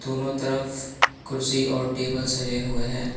दोनों तरफ कुर्सी और टेबल सजे हुए हैं।